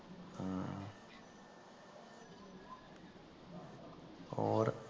ਹੋਰ